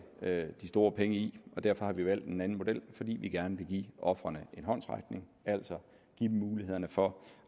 de store penge i derfor har vi valgt en anden model fordi vi gerne vil give ofrene en håndsrækning altså give dem mulighederne for